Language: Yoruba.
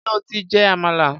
Ṣé o ti jẹ àmàlà?